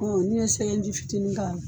Ni ye sɛgɛn ji fitinin kɛ a la.